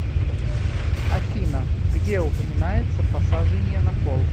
афина где упоминается посажение на кол